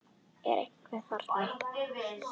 Er einhver þarna?